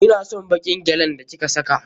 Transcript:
Ina son baƙin gyalin da ki ka saka.